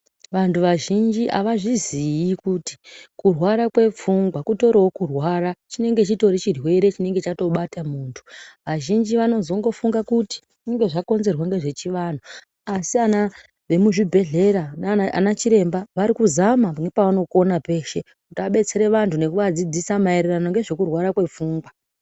Vantu vazhinji havazvizii kuti kurwara kwepfungwa kutorivo kurwara chinenge chitorivo chirwere chinonge chatobata muntu. Vazhinji vanozongofunga kuti zvinonga zvakonzerwa ngezvechivantu. Asi ana emuzvibhedhlera nanachiremba vari kuzama kuti vabetsere vantu maererano ngezvekurwara kwepfungwa.